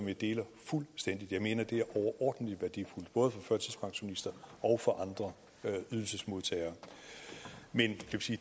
vi deler fuldstændigt jeg mener det er overordentlig værdifuldt både for førtidspensionister og for andre ydelsesmodtagere men